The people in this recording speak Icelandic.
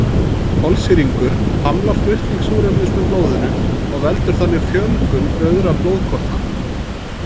Kolsýrlingur hamlar flutning súrefnis með blóðinu og veldur þannig fjölgun rauðra blóðkorna.